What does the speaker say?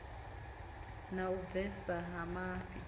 na u bvesa ha mafhi